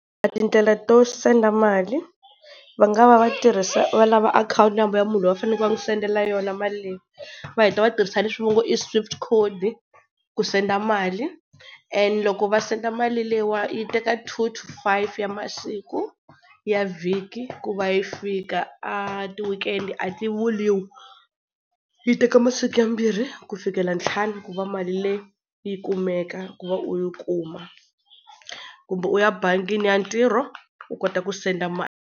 A tindlela to send-a mali, va nga va va tirhisa, va lava akhawunti number ya munhu loyi va fanele va n'wi sendela yona mali leyi, va heta va tirhisa leswi va ngo i swift code ku send-a mali. And loko va send-a mali leyiwani yi teka two to five ya masiku ya vhiki ku va yi fika, a ti-weekend a ti vuliwi. Yi teka masiku yambirhi ku fikela ntlhanu ku va mali leyi yi kumeka ku va u yi kuma, kumbe u ya bangini ya ntirho u kota ku send-a mali.